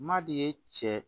N'a de ye cɛ